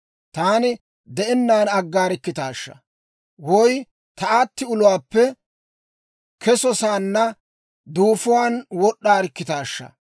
Taani de'ennaan aggaarikkitaashaa! Woy ta aatti uluwaappe kesosaanna duufuwaan wod'd'aarikkitaashsha!